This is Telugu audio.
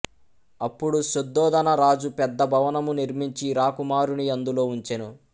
అప్పుడు శుద్ధోదన రాజు పెద్ద భవనము నిర్మించి రాకుమారుని అందులో ఉంచెను